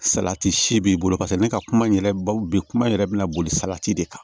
Salati si b'i bolo paseke ne ka kuma in yɛrɛ ba bi kuma yɛrɛ bɛna boli salati de kan